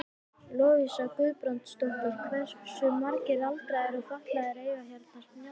Lovísa Guðbrandsdóttir: Hversu margir aldraðir og fatlaðir eiga hérna snjallsíma?